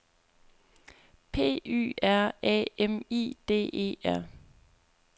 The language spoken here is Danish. P Y R A M I D E R